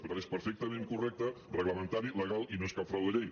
per tant és perfectament correcte reglamentari legal i no és cap frau de llei